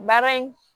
Baara in